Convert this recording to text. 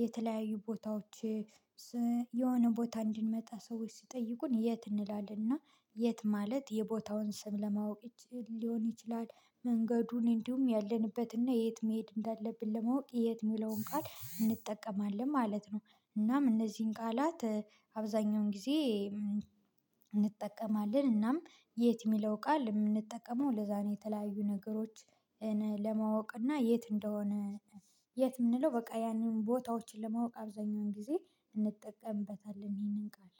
የተለያዩ ቦታዎች የሆነ ቦታ እንድንመጣ ሰዎች ሲጠይቁን የት እንላለን እና የት ማለት የቦታውን ስም ለማወቅ ሊሆን ይችላል መንገዱን እንዲሁም ያለንበት ያለ የት መሄድ እንዳለብን ለማወቅ የት የሚለውን ቃል እንጠቀማለን ማለት ነው። እናም እነዚህን ቃላት አብዛኛውን ጊዜ እንጠቀማለን እናም የት የሚለው ቃል የምንጠቀመው ለዛ ነው የተለያዩ ነገሮች ለማወቅ እና የት እንደሆነ የት የምንለው በቃ ያንን ቦታዎችን ለማወቅ አብዛኛውን ጊዜ እንጠቀምበታለን ይህንን ቃል።